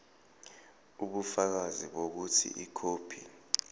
ubufakazi bokuthi ikhophi